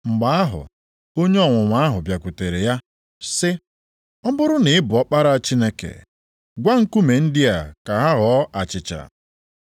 Mgbe ahụ onye ọnwụnwa ahụ bịakwutere ya sị, “Ọ bụrụ na ị bụ Ọkpara Chineke, gwa nkume ndị a ka ha ghọọ achịcha.”